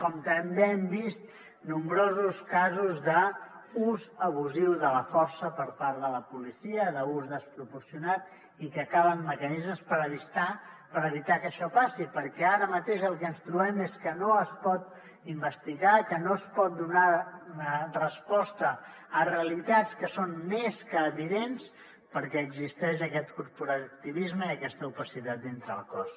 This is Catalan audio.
com també hem vist nombrosos casos d’ús abusiu de la força per part de la policia d’ús desproporcionat i que calen mecanismes per evitar que això passi perquè ara mateix el que ens trobem és que no es pot investigar que no es pot donar resposta a realitats que són més que evidents perquè existeix aquest corporativisme i aquesta opacitat dintre el cos